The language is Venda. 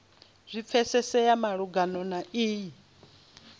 zwi pfesese malugana na iyi